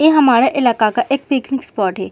ए हमारा इलाका का एक पिकनिक स्पॉट है।